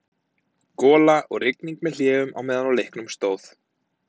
Gola og rigning með hléum á meðan á leiknum stóð.